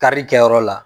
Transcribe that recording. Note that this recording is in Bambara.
Kari kɛyɔrɔ la